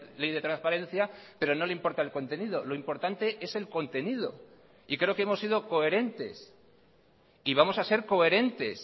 ley de transparencia pero no le importa el contenido lo importante es el contenido y creo que hemos sido coherentes y vamos a ser coherentes